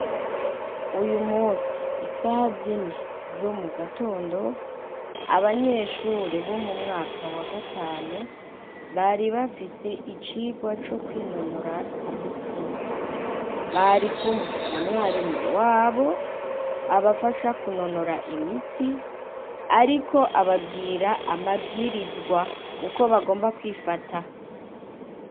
Uyu musi isaha zini zo mu gatondo abanyeshure bo mu mwaka wa gatanu bari bafise icirwa co kwinonora imitsi bari kumwe na mwarimu wabo abafasha kunonora imitsi ari iko ababwira amabwirizwa uko bagomba kwifata.